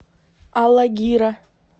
алагира